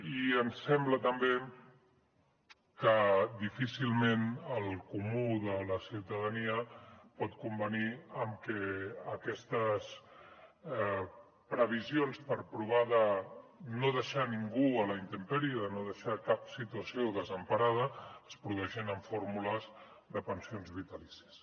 i ens sembla també que difícilment el comú de la ciutadania pot convenir en que aquestes previsions per provar de no deixar ningú a la intempèrie de no deixar cap situació desemparada es produeixin amb fórmules de pensions vitalícies